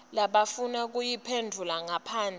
labafuna kuyiphendvula ngaphandle